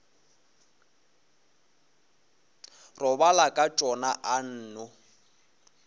robala ka tšona a nno